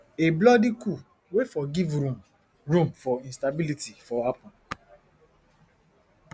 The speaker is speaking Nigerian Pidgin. a bloody coup wey for give room room for instability for happun